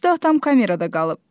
xəstə atam kamerada qalıb.